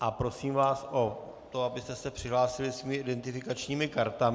a prosím vás o to, abyste se přihlásili svými identifikačními kartami.